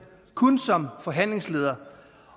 kun som forhandlingsleder